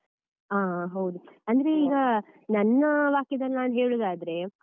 ಹ ಹೌದು, ಅಂದ್ರೆ ಈಗ ನನ್ನ ವಾಕ್ಯದಲ್ಲಿ ನಾನ್ ಹೇಳುದಾದ್ರೆ.